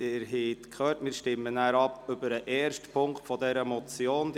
– Sie haben gehört, wir stimmen nachher über den ersten Punkt dieser Motion ab.